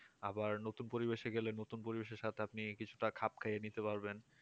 আবার নতুন পরিবেশে গেলে নতুন পরিবেশের সাথে আপনি কিছুটা খাপ খাইয়ে নিতে পারবেন